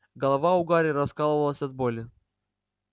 голова у гарри раскалывалась от боли